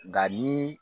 Nka ni